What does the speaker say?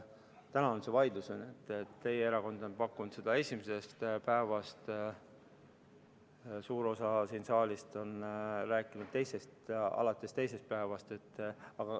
Täna on see vaidlus, et teie erakond on pakkunud seda esimesest päevast, suur osa sellest saalist on rääkinud, et alates teisest päevast.